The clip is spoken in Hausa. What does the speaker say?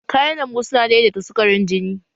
Kayan lambu su na daidaita sukarin jini